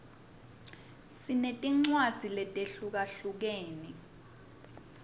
sinetincwadzi letehlukahlukene